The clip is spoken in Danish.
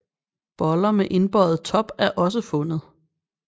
Boller med indbøjet top er også fundet